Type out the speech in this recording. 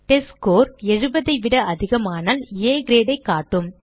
test score 70 ஐ விட அதிகமானால் ஆ grade ஐ காட்டும்